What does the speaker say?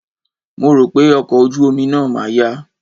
Mo rò pé ọkọ̀ ojú omi náà ma yá.